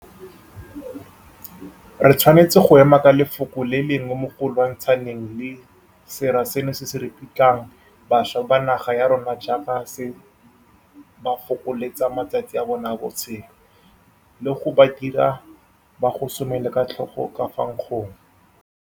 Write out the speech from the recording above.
Re tshwanetse go ema ka lefoko le le lengwe mo go lwantshaneng le sera seno se se ripitlang bašwa ba naga ya rona jaaka se ba fokoletsa matsatsi a bona a botshelo, le go ba dira gore ba gosomela ka tlhogo ka fa nkgong.